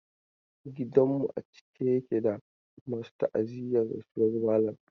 Gidan mu a cike yake da masu ta'aziyyar rasuwar malam.